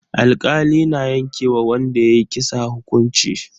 Alkali na yanke wa wanda ya yi kisa hukunci.